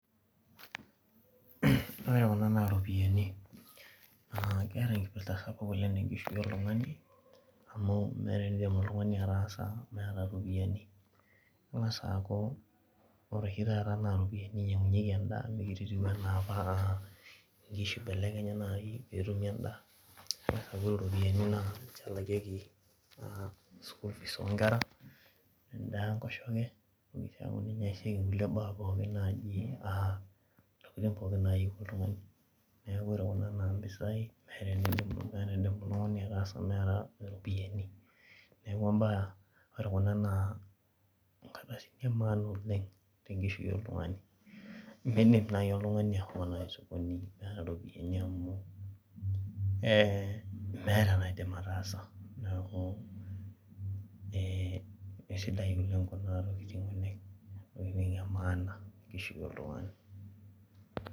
Ore kuna na ropiyani na keeta enkipirta sapuk tenkishui oltungani amu meeta eneidim oltungani ataasa meeta ropiyani ingasa aaku ore oshi taata na ropiyani inyangunyieki endaa mekute etiu anaa apa inkishu ibelekenyi anaake petumoki endaa kengasa aaku ore ropiyani na ninche elakieki mpisai o kera, endaa enkosheke ntokitin nayieu oltungani neaku meeta entoki naidim ataasa meeta ropiyani neaku mbaa ore kuna na nkardasini emaana tenkishui oltungani amu meeta entoki naidim ataasa neaku kesidai kuna tokitin oleng ntokitin emaana tenkishui oltungani